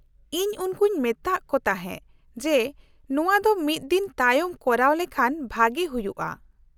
-ᱤᱧ ᱩᱱᱠᱩᱧ ᱢᱮᱛᱟᱜ ᱠᱚ ᱛᱟᱦᱮᱸ ᱡᱮ ᱱᱚᱶᱟ ᱫᱚ ᱢᱤᱫ ᱫᱤᱱ ᱛᱟᱭᱚᱢ ᱠᱚᱨᱟᱣ ᱞᱮᱷᱟᱱ ᱵᱷᱟᱹᱜᱤ ᱦᱩᱭᱩᱜᱼᱟ ᱾